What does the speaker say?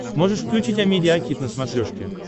можешь включить амедиа хит на смотрешке